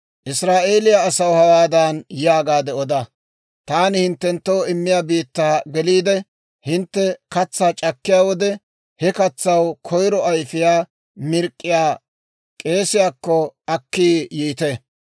«Israa'eeliyaa asaw hawaadan yaagaade oda; ‹Taani hinttenttoo immiyaa biittaa geliide, hintte katsaa c'akkiyaa wode, he katsaw koyiro ayfiyaa mirk'k'iyaa k'eesiyaakko akki yiite.